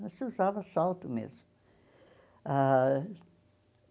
Mas se usava salto mesmo ah.